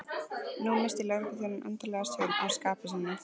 Nú missti lögregluþjónninn endanlega stjórn á skapi sínu.